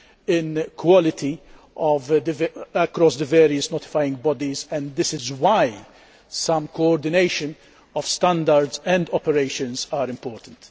in quality across the various notifying bodies, and this is why some coordination of standards and operations is important.